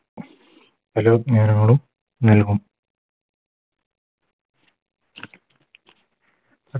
പല വ്യഞ്ജനങ്ങളും നൽകും